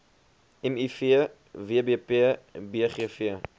miv wbp bgv